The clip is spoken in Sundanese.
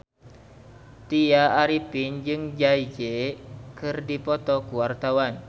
Tya Arifin jeung Jay Z keur dipoto ku wartawan